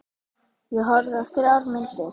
Ég horfði á þrjár myndir.